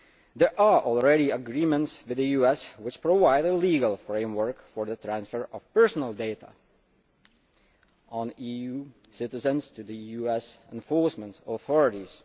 There are already agreements with the US which provide a legal framework for the transfer of personal data on EU citizens to the US enforcement authorities.